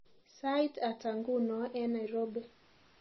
Sait ata nguno eng Nairobi